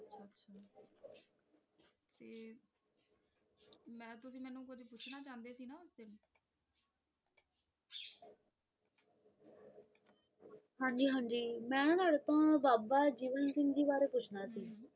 ਹਨ ਜੀ ਹਨ ਜੀ ਮੇਂ ਨਾ ਤੁਵੱਡੇ ਕੋਲੋਂ ਬਾਬਾ ਜੀਵਨ ਸਿੰਘ ਜੀ ਬਾਰੇ ਪੁੱਛਣਾ ਸੀ